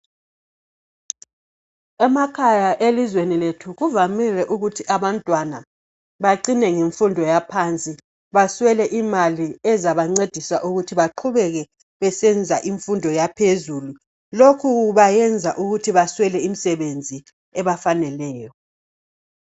Emakhaya elizweni lethu kuvamile ukuthi abantwana bacine ngemfundo yaphansi baswele imali ezabancedisa ukuthi baqhubeke besenza imfundo yaphezulu. Lokhu kwenza ukuthi baswele imisebenzi ebafaneleyo.